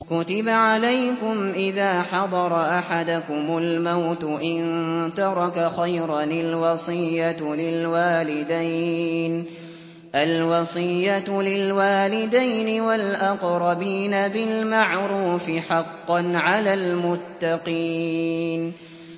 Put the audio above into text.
كُتِبَ عَلَيْكُمْ إِذَا حَضَرَ أَحَدَكُمُ الْمَوْتُ إِن تَرَكَ خَيْرًا الْوَصِيَّةُ لِلْوَالِدَيْنِ وَالْأَقْرَبِينَ بِالْمَعْرُوفِ ۖ حَقًّا عَلَى الْمُتَّقِينَ